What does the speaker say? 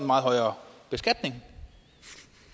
meget højere beskatning